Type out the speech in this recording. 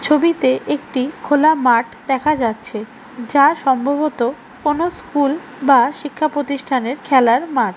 ছবিতে একটি খোলা মাঠ দেখা যাচ্ছে যা সম্ভবত কোন স্কুল বা শিক্ষা প্রতিষ্ঠানের খেলার মাঠ।